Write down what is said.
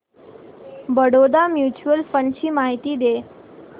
Baroda mutual fund ची माहिती दे